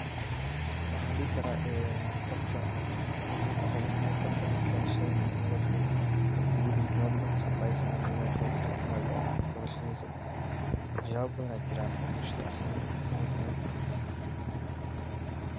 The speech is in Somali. Waxaan dihi karaa qofka muhiim waxaay oogu tahay qofka in marki dalashadiisa loo digo, marki uu dinto loo digo,[suprise] ahaan qofka inaad kafarxiso, wax yaaba badan ayaa jiraan oo bulshada muhiim utahay.